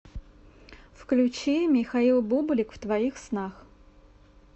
включи михаил бублик в твоих снах